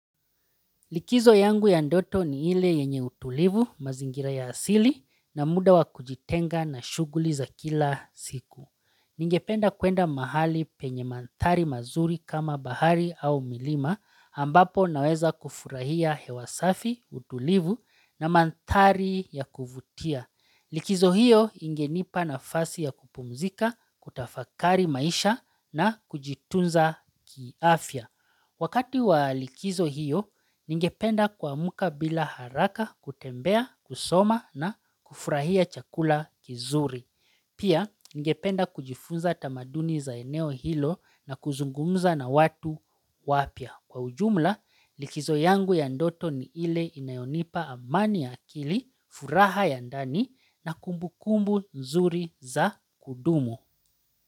Likizo yangu ya ndoto ni ile yenye utulivu mazingira ya asili na muda wa kujitenga na shuguli za kila siku. Ningependa kuenda mahali penye mantari mazuri kama bahari au milima ambapo naweza kufurahia hewa safi, utulivu na mantari ya kuvutia. Likizo hiyo ingenipa na fasi ya kupumzika, kutafakari maisha na kujitunza kiafia. Wakati wa likizo hiyo, ningependa kuamka bila haraka kutembea, kusoma na kufurahia chakula kizuri. Pia, ningependa kujifunza tamaduni za eneo hilo na kuzungumza na watu wapia. Kwa ujumla, likizo yangu ya ndoto ni ile inayonipa amani ya akili, furaha ya ndani na kumbu kumbu nzuri za kudumu.